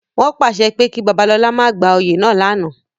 Wọn paṣẹ ki Babalola ma gba oyè náa lánàá!